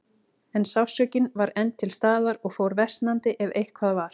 En sársaukinn var enn til staðar og fór versnandi, ef eitthvað var.